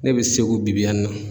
Ne bɛ segu bi bi y'a na.